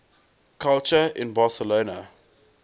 culture in barcelona